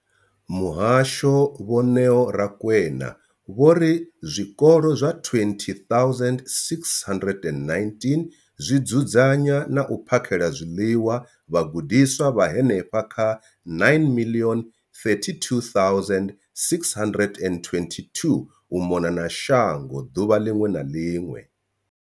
Muhasho, Vho Neo Rakwena, vho ri zwikolo zwa 20 619 zwi dzudzanya na u phakhela zwiḽiwa vhagudiswa vha henefha kha 9 032 622 u mona na shango ḓuvha ḽiṅwe na ḽiṅwe.